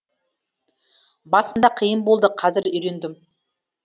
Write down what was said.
басында қиын болды қазір үйрендім